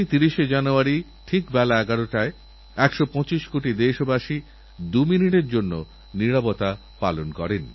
আর শুধু খেলোয়াড়ই তো নয় তাঁর মাবাবাও ততটাই মনোযোগ সহকারেনিজের ছেলের জন্য মেহনত করেন